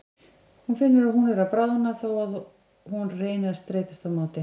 Hún finnur að hún er að bráðna þó að hún reyni að streitast á móti.